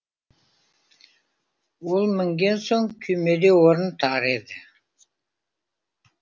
ол мінген соң күймеде орын тар еді